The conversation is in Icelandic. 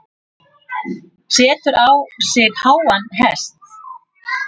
Setur sig á háan hest.